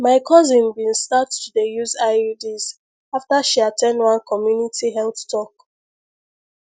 my cousin bin start to dey use iuds after she at ten d one community health talk